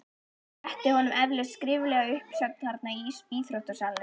Rétti honum eflaust skriflega uppsögn þarna í íþróttasalnum?